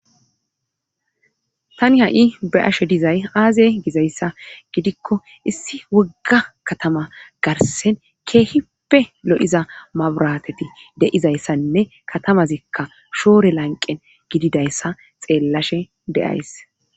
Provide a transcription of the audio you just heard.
tani ha7i be'ashe dizay aaze gizayssa gidikko issi wogga katama garsen keehippe lo7iza maburateti de7izayssanne katamazikka shoore lanqen gididayssa xeellashe deyays